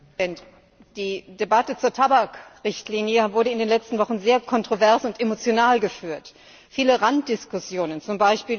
Herr Präsident! Die Debatte zur Tabakrichtlinie wurde in den letzten Wochen sehr kontrovers und emotional geführt. Viele Randdiskussionen z.